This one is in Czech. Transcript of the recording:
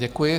Děkuji.